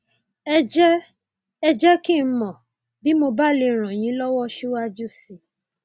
ẹ jẹ ẹ jẹ kí n mọ bí mo bá lè ràn yín lọwọ síwájú sí i